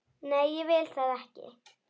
Nei, ég vil það ekki.